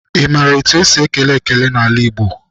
Ị maara etu esi ekele ekele n'ala Igbo?